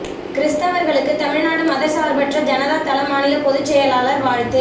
கிறிஸ்தவா்களுக்கு தமிழ்நாடு மதச்சாா்பற்ற ஜனதா தள மாநில பொதுச் செயலா் வாழ்த்து